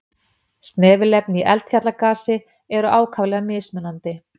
Snefilefni í eldfjallagasi eru ákaflega mismunandi.